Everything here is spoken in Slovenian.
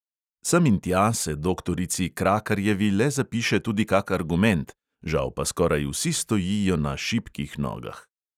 Sem in tja se doktorici krakarjevi le zapiše tudi kak argument, žal pa skoraj vsi stojijo na šibkih nogah.